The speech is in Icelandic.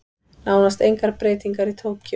Nánast engar breytingar í Tókýó